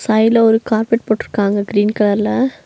சைட்ல ஒரு கார்பெட் போட்டிருக்காங்க கிரீன் கலர்ல .